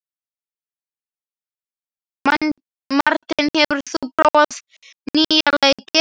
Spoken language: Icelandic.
Marteinn, hefur þú prófað nýja leikinn?